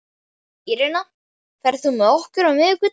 Írena, ferð þú með okkur á miðvikudaginn?